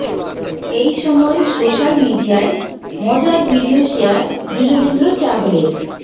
এই সময় সোশাল মিডিয়ায় মজার ভিডিও শেয়ার যুজবেন্দ্র চাহলের